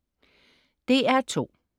DR2: